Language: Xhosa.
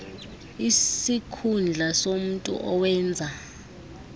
isikhundla somntu owenza